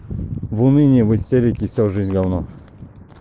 в уныние в истерике всю жизнь гавно